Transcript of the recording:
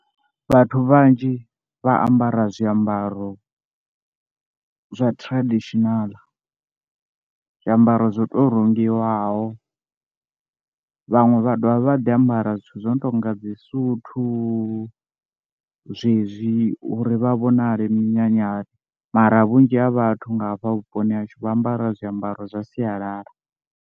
Vhathu vhanzhi vha ambara zwiambaro zwa traditional, zwiambaro zwo to rengiwaho, vhaṅwe vha dovha vha ḓi ambara zwithu zwo no tou nga dzi suthu zwezwi uri vha vhonale minyanyani, mara vhunzhi ha vhathu nga hafha vhuponi ha hashu vha ambara zwiambaro zwa sialala.